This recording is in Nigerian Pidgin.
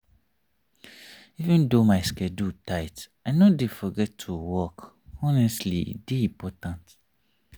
even though my schedule tight i no dey forget to walk honestly e dey important.